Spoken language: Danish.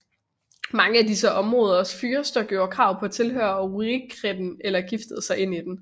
Mange af disse områders fyrster gjorde krav på at tilhøre Rurikætten eller giftede sig ind i den